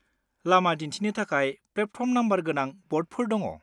लामा दिन्थिनो थाखाय प्लेटफर्म नम्बर गोनां ब'र्डफोर दङ।